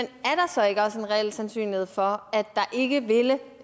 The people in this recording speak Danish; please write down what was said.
reel sandsynlighed for at der ikke vil